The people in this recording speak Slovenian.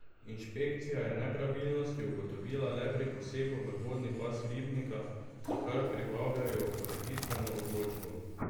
Inšpekcija je nepravilnosti ugotovila le pri posegu v vodni pas ribnika, za kar pripravljajo ureditveno odločbo.